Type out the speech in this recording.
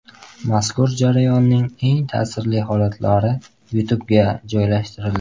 Mazkur jarayonning eng ta’sirli holatlari YouTube’ga joylashtirildi .